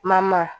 Mama